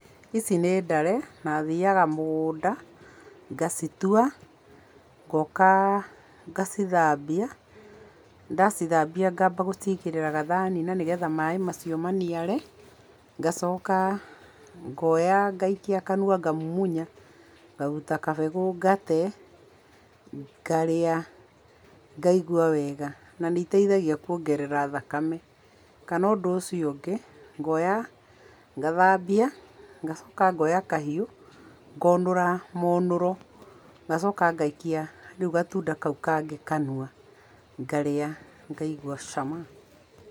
Ici nĩ ndare na thiaga mũgũnda ngacitua ngoka ngacithambia. Ndacithambia ngamba ngacigĩrĩra gathani-inĩ nĩgetha maĩ macio maniare. Ngacoka ngoya ngaikia kanua ngamumunya ngaruta kabegũ ngate, ngarĩa ngaigua wega. Na nĩ iteithagia kuongerera thakame. Kana ũndũ ũcio ũngĩ, ngoya ngathambia, ngacoka ngoya kahiũ ngonũra mũnũro ngacokia ngaikia rĩu gatunda kau kangĩ kanua ngarĩa ngaigua cama.